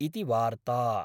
॥ इति वार्ता ॥